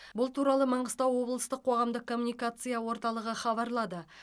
бұл туралы маңғыстау облыстық қоғамдық коммуникация орталығы хабарлады